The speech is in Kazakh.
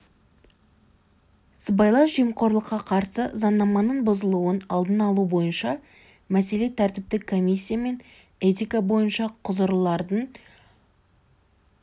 сыбайлас жемқорлыққа қарсы заңнамының бұзылуының алдын алу бойынша мәселе тәртіптік комиссия мен этика бойынша құзырлылардың